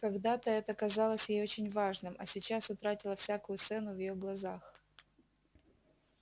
когда-то это казалось ей очень важным а сейчас утратило всякую цену в её глазах